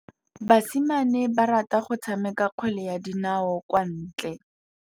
Basimane ba rata go tshameka kgwele ya dinaô kwa ntle.